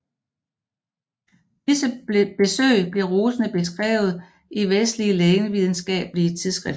Disse besøg blev rosende beskrevet i vestlige lægevidenskabelige tidsskrifter